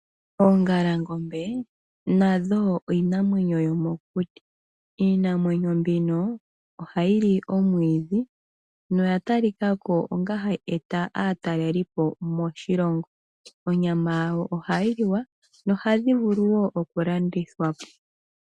Oongalangombe nadho iinamwenyo, iinamwenyo mbika ohayi li omwiidhi noya talika ko wo onga iinamwenyo tayi wta aataleli po moshilongo onyama yawo ohayi liwa yo ohayi vulu wo okulandithwapo.